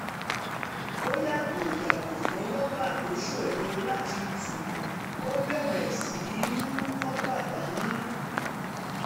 ó yàgò yàgò fún rọ́bà tó ṣòro láti tú ó bẹ̀rẹ̀ um sí í um mú kópa dání